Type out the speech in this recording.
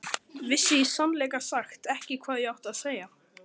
Vissi í sannleika sagt ekki hvað ég átti að segja.